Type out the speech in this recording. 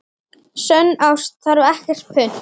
Sönn ást þarf ekkert punt.